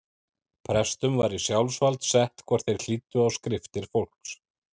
Prestum var í sjálfsvald sett hvort þeir hlýddu á skriftir fólks.